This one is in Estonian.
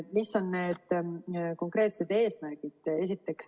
Mis on need konkreetsed eesmärgid?